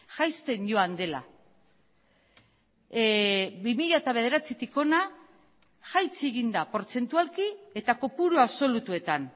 jaisten joan dela bi mila bederatzitik hona jaitsi egin da portzentualki eta kopuru absolutuetan